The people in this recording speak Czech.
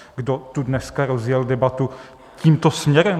Kdo tu dneska rozjel debatu tímto směrem?